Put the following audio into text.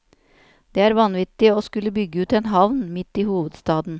Det er vanvittig å skulle bygge ut en havn midt i hovedstaden.